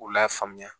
K'u lafaamuya